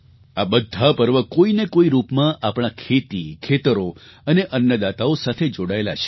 આ બધા પર્વ કોઈ ને કોઈ રૂપમાં આપણા ખેતીખેતરો અને અન્નદાતાઓ સાથે જોડાયેલાં છે